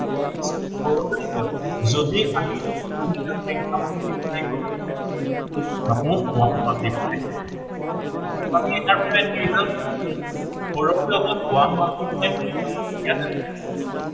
যদি আমি কোনো এটা সংখ্য়া multiply কৰো suppose one ৰ multiply কৰো আমি এতিয়া তাৰ কি result পাম সকলোতে যাৱ one multiply কৰিলে, ইয়াতে কি হব